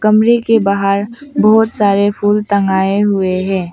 कमरे के बाहर बहुत सारे फूल तांगाए हुए हैं।